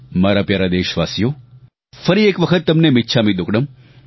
મારા પ્યારા દેશવાસીઓ ફરી એક વખત તમને મિચ્છામી દુક્કડમ